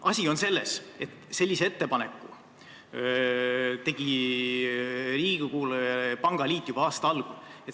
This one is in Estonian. Asi on selles, et sellise ettepaneku tegi pangaliit Riigikogule juba aasta algul.